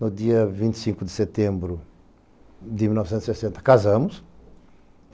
No dia vinte e cinco de setembro de mil novecentos e sessenta, casamos.